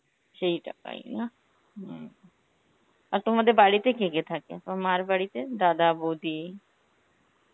সেই টাকায় না, হম. আর তোমাদের বাড়িতে কে কে থাকে, তোমার মার বাড়িতে? দাদা, বৌদি